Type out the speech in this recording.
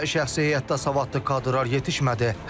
Təkcə şəxsi heyətdə savadlı kadrlar yetişmədi.